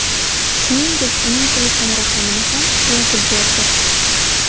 Shuningdek, uning telefon raqamini ham yozib berdi.